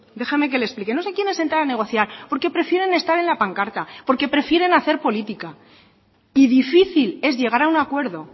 déjame que le explique no se quieren sentar a negociar porque prefieren estar en la pancarta porque prefieren hacer política y difícil es llegar a un acuerdo